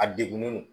A degunnen don